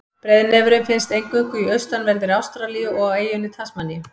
Breiðnefurinn finnst eingöngu í austanverðri Ástralíu og á eyjunni Tasmaníu.